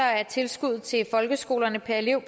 er tilskuddet til folkeskolerne per elev